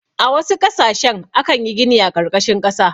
A wasu ƙasashe akan yi gini a ƙarƙashin ƙasa.